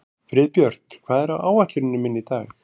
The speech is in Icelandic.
Friðbjört, hvað er á áætluninni minni í dag?